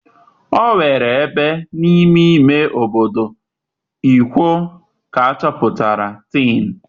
Onwere ebe n'ime ime obodo Ikwo ka achoputara Tin.